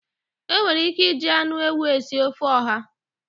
E nwere ike iji anụ ewụ esị ofe ọha